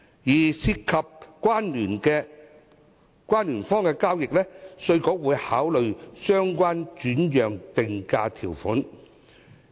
至於涉及關聯方的交易，稅務局會考慮相關的轉讓定價條款。